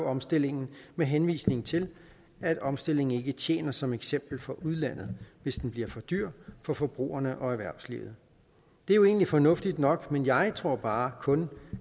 omstillingen med henvisning til at omstillingen ikke tjener som eksempel for udlandet hvis den bliver for dyr for forbrugerne og erhvervslivet det er egentlig fornuftigt nok men jeg tror bare kun